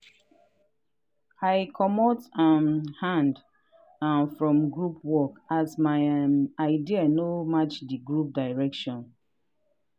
i comot um hand um from group work as my um idea no match di group direction.